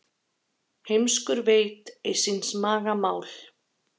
Heimskur veit ei síns maga mál.